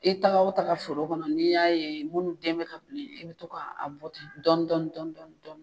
I taga o taga foro kɔnɔ n'i y'a ye munnu den mɛ ka bilen, i bi to ka bɔ dɔɔnin dɔɔnin dɔɔnin dɔɔnin